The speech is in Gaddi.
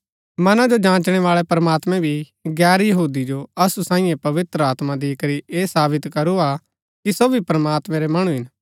मना जो जाँचनै बाळै प्रमात्मैं भी गैर यहूदी जो असु साईये पवित्र आत्मा दिकरी ऐह साबित करू हा कि सो भी प्रमात्मैं रै मणु हिन